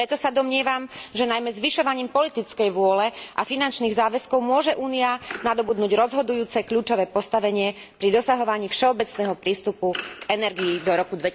Aj preto sa domnievam, že najmä zvyšovaním politickej vôle a finančných záväzkov môže Únia nadobudnúť rozhodujúce kľúčové postavenie pri dosahovaní všeobecného prístupu k energii do roku